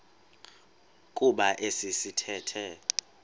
kuba esi sithethe